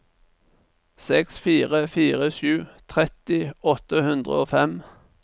seks fire fire sju tretti åtte hundre og fem